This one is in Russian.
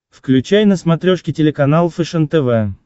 включай на смотрешке телеканал фэшен тв